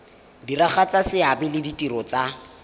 diragatsa seabe le ditiro tsa